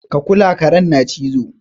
Ka kula! karen na cizo.